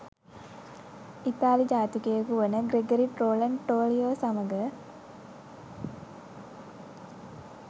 ඉතාලි ජාතිකයකු වන ග්‍රෙගරි ට්‍රොලන් ටොලියෝ සමග